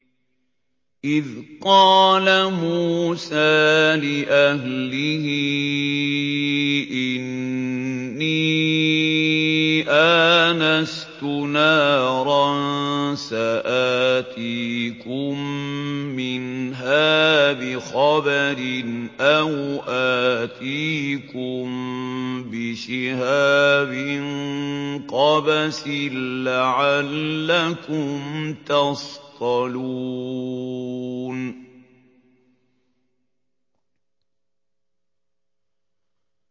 إِذْ قَالَ مُوسَىٰ لِأَهْلِهِ إِنِّي آنَسْتُ نَارًا سَآتِيكُم مِّنْهَا بِخَبَرٍ أَوْ آتِيكُم بِشِهَابٍ قَبَسٍ لَّعَلَّكُمْ تَصْطَلُونَ